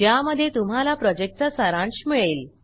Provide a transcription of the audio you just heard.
ज्यामध्ये तुम्हाला प्रॉजेक्टचा सारांश मिळेल